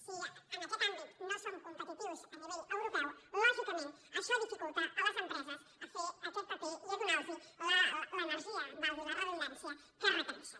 si en aquest àmbit no som competitius a nivell europeu lò·gicament això dificulta a les empreses fer aquest paper i donar·los l’energia valgui la redundància que reque·reixen